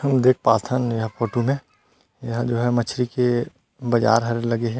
हम देख पाथन ये फोटो में यहाँ जो है मछली के बाजार लगे हे।